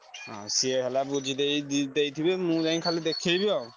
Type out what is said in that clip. ସିଏ ହେଲା ବୁଝିଦେଇ ଦି ଦେଇଥିବେ ମୁଁ ଯାଇ ଖାଲି ଦେଖେଇବି ଆଉ।